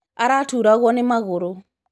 Araturagwo nĩmagũrũ.